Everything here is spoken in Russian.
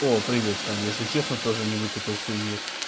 о привет тань если честно тоже не выкупил хуйни